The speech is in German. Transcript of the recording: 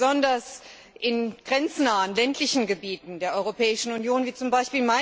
Besonders in grenznahen ländlichen Gebieten der Europäischen Union, wie z. B.